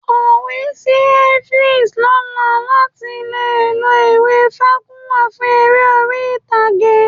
Kọ̀wé sí Evans lọ́la láti lè lo ìwé Fágúnwà fún eré orí-ìtàgé